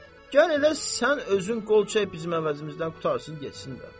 Gəl elə sən özün qol çək bizim əvəzimizdən qurtarsın getsin də.